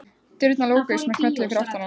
Dyrnar lokuðust með smelli fyrir aftan hann.